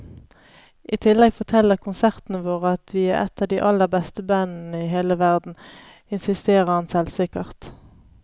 I tillegg forteller konsertene våre at vi er et av de aller beste bandene i hele verden, insisterer han selvsikkert.